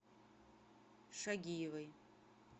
шагиевой